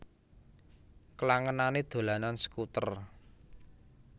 Klangenané dolanan skuter